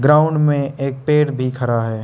Ground में एक पेड़ भी खरा है।